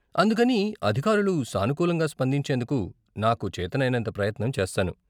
అందుకని, అధికారులు సానుకూలంగా స్పందించేందుకు నాకు చేతనైనంత ప్రయత్నం చేస్తాను.